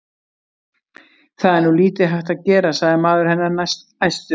Það er nú lítið hægt að gera, sagði maður hennar æstur.